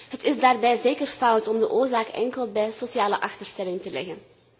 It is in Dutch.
Het is daarbij zeker fout om de oorzaak enkel bij sociale achterstelling te leggen.